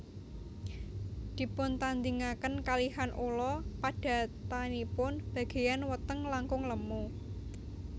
Dipuntandhingaken kalihan ula padatanipun bagéyan weteng langkung lemu